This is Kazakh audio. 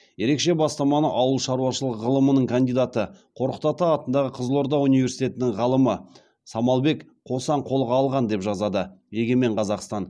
ерекше бастаманы ауыл шаруашылық ғылымының кандидаты қорқыт ата атындағы қызылорда университетінің ғалымы самалбек қосан қолға алған деп жазады егемен қазақстан